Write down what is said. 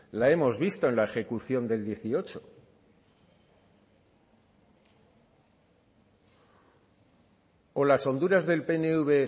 la hemos visto en la ejecución del dieciocho o las honduras del pnv